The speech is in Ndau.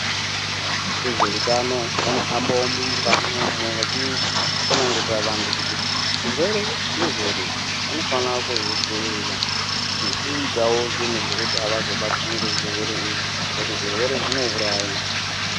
Vezvehutano vanohambavo mumakanyi umu vachitsanangurira vantu kuti zvirwere zvirwere vanofana kuzvidzivirira. Nekuitavo zvinhu zvekuti havazobatwi ngezvirwere izvi ngekuti zvirwere zvinouraya.